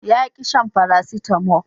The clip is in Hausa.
ya ƙi shan farasitamo